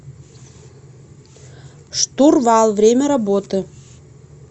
штурвал время работы